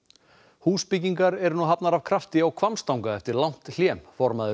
húsbyggingar eru nú hafnar af krafti á Hvammstanga eftir langt hlé formaður